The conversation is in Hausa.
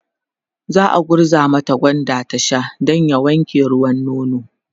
za'a gurza mata gwanda ta Sha Dan ya wanke ruwan nono